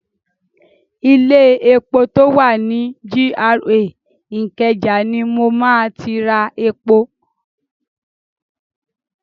Ilé epo tó wà ni GRA Ìkẹjà ni mo ma ti ra epo.